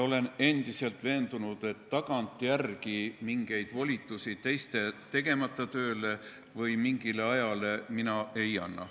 Olen endiselt veendunud, et tagantjärele mingeid volitusi teiste tegemata töö või mingi aja kohta mina ei anna.